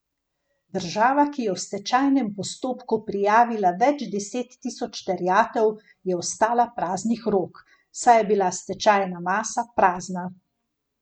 Država, ki je v stečajnem postopku prijavila več deset tisoč terjatev, je ostala praznih rok, saj je bila stečajna masa prazna.